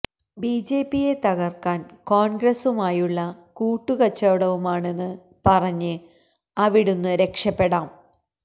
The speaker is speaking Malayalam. ബിജെപിയെ തകർക്കാൻ കോൺഗ്രസുമായുള്ള കൂട്ട് കച്ചവടവുമാണെന്ന് പറഞ്ഞ് അവിടുന്ന് രക്ഷപ്പെടാം